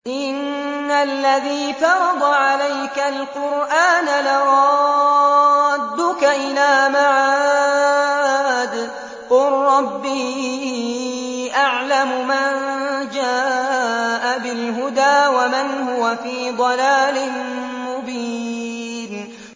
إِنَّ الَّذِي فَرَضَ عَلَيْكَ الْقُرْآنَ لَرَادُّكَ إِلَىٰ مَعَادٍ ۚ قُل رَّبِّي أَعْلَمُ مَن جَاءَ بِالْهُدَىٰ وَمَنْ هُوَ فِي ضَلَالٍ مُّبِينٍ